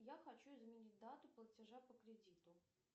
я хочу изменить дату платежа по кредиту